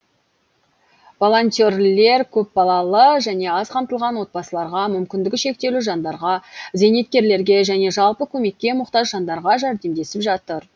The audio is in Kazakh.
волонтерлер көпбалалы және аз қамтылған отбасыларға мүмкіндігі шектеулі жандарға зейнеткерлерге және жалпы көмекке мұқтаж жандарға жәрдемдесіп жатыр